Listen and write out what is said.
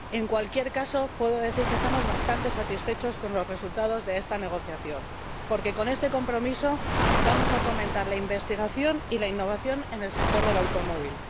En cualquier caso, puedo decir que estamos bastante satisfechos con los resultados de esta negociación, porque con este compromiso vamos a fomentar la investigación y la innovación en el sector del automóvil